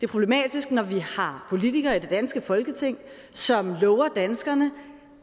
problematisk når vi har politikere i det danske folketing som lover danskerne